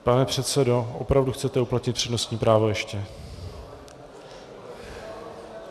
Pane předsedo, opravdu chcete uplatnit přednostní právo ještě?